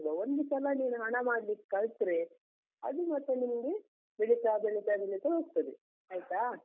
ಒಂದು ಸಲ ನೀನು ಹಣ ಮಾಡ್ಲಿಕ್ ಕಲ್ತ್ರೆ, ಅದು ಮತ್ತೆ ನಿನ್ಗೆ ಬೆಳಿತಾ ಬೆಳಿತಾ ಬೆಳಿತಾ ಹೋಗ್ತದೆ, ಆಯ್ತಾ.